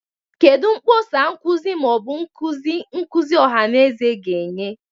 Kedu mkpọsa nkuzi ma ọ bụ nkuzi nkuzi ọha na eze ga-enye?